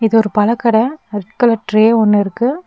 இது ஒரு பழக்கட ரெட் கலர் ட்ரே ஒன்னு இருக்கு.